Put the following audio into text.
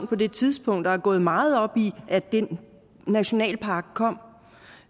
på det tidspunkt og er gået meget op i at den nationalpark kom